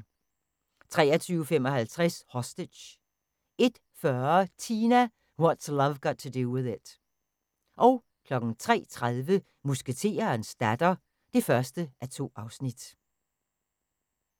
23:55: Hostage 01:40: Tina – What's Love Got to Do With It 03:30: Musketerens datter (1:2)